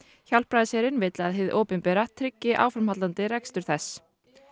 Hjálpræðisherinn vill að hið opinbera tryggi áframhaldandi rekstur þess